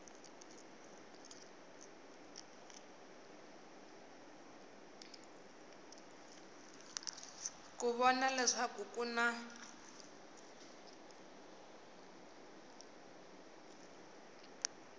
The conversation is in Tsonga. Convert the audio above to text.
ku vona leswaku ku na